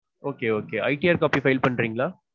Okay okayITRcopy file பண்றீங்களா?